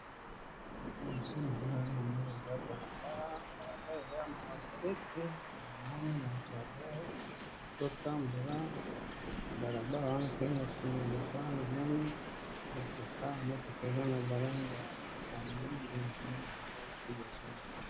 Liboso nanga namoni eza balabala eza balabala yamabele te namoni moto azotambola nabalabala wana pe nasima yamoto wana motoko ezanabalangi ya pondu nde namoni libosonanga